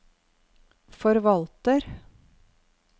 forvalter